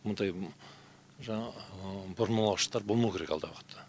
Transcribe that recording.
мұндай жаңағы бұрмалаушықтар болмау керек алдағы уақытта